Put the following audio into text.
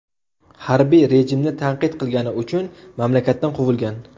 Harbiy rejimni tanqid qilgani uchun mamlakatdan quvilgan.